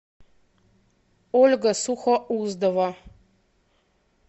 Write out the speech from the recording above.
ольга сухоуздова